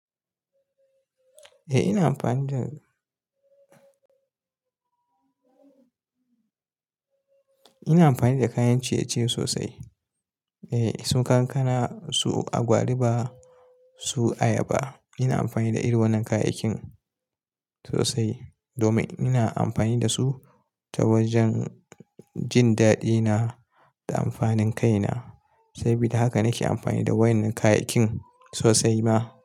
Eh ina amfani da, ina amfani da kayan ciye-ciye sosai. Eh su kankana, su agwaluma, su ayaba. Ina amfani da irin wannan kayayyakin sosai domin ina amfani da su ta wajen jin daɗina da amfanin kaina. Sabida haka nake amfani da wannan kayayyakin sosai ma.